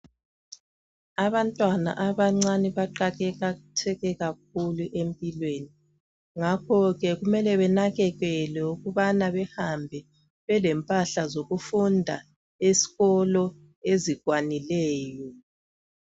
Abantwana abancane baqakatheke kakhulu empilweni ngakho ke kumele benakekelwe ukubana behambe belempahla zokufunda esikolo ezikwanileyo.